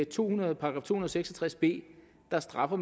to hundrede og seks og tres b straffer